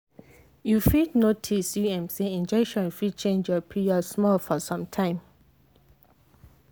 you fit notice u m say injection fit change your period small for some time.